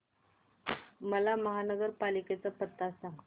मला महापालिकेचा पत्ता सांग